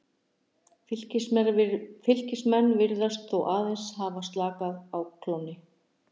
Fylkismenn virðast þó hafa aðeins slakað á klónni.